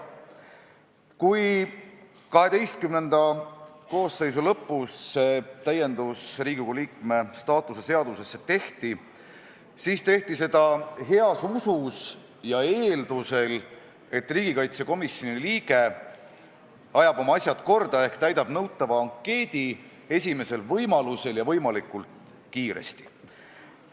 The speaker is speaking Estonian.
Kui XII koosseisu lõpus see täiendus Riigikogu liikme staatuse seadusesse tehti, siis sündis see heas usus ja eeldusel, et riigikaitsekomisjoni liige ajab oma asjad korda ehk täidab nõutava ankeedi esimesel võimalusel ja võimalikult kiiresti.